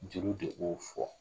Jeliw de b'o fɔ